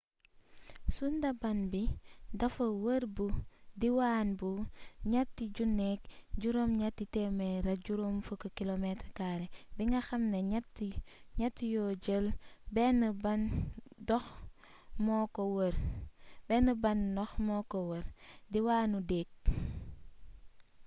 sundaban bi dafa wër bu diwaan bu 3 850km² bi nga xam ne ñett yoo jël benn ban dox moo ko wër/diwaanu deeg